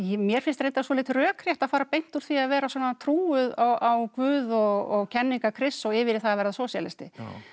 mér finnst reyndar svolítið rökrétt að fara beint úr því að vera svona trúuð á Guð og kenningar Krists og yfir í það að verða sósíalisti